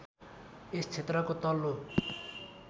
यस क्षेत्रको तल्लो